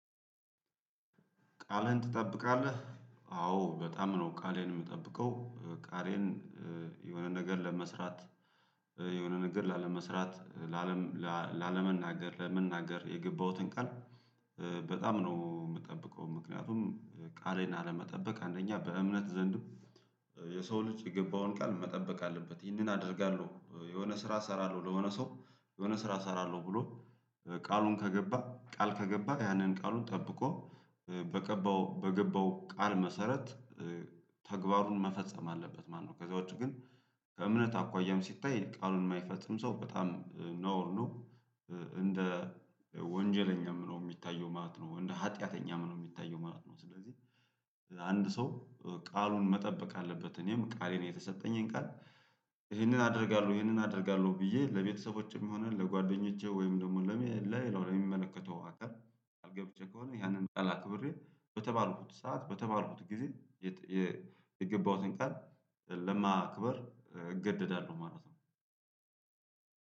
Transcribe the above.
ቃሌን ትጠብቃለህ አዎ በጣም ነው ቃሌን የምጠብቀው ቃሌን ነገር ለመስራት የሆነ ነገር ላለመስራት ለአለም ላለመናገር ለመናገር የገባሁትን ቃል በጣም ነው የምጠብቀው። ምክንያቱም ቃሌን አለመጠበቅ አንደኛ በእምነት ዘንድም የሰው ልጅ የገባውን ቃል መጠበቅ አለበት ይህንን አደርጋለሁ የሆነ ስራ እሰራለሁ። ለሆነ ሰው የሆነ ስራ እሰራለሁ ብሎ ቃሉን ከገባ ቃል ከገባ ያንን ቃሉን ጠብቆ በገባው በገባው ቃል መሰረት ተግባሩን መፈጸም አለበት ማለት ነው። ከዚያ ውጪ ግን ከእምነት አኳያም ሲታይ ቃሉን የማይፈጽም ሰው በጣም ነውር ነው። እንደ ወንጀለኛም ነው የሚታየው ማለት ነው እንደ ሀጢያተኛም ነው የሚታየው ማለት ነው። ስለዚህ አንድ ሰው ቃሉን መጠበቅ አለበት። እኔም ቃሌን የተሰጠኝን ቃል ይሄንን አደርጋለሁ ይሄንን አደርጋለሁ። ብዬ ለቤተሰቦቼም ይሆናል ለጓደኞቼ ወይም ደግሞ ለሚመለከተው አካል ቃል ገብቼ ከሆነ ያንን ጠላ ክብሬ ብር በተባልኩት ሰዓት በተባልኩት ጊዜ የገባሁትን ቃል ለማክበር እገደዳለሁ። ማለት ነው።